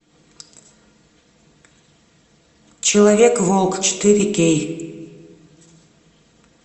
человек волк четыре кей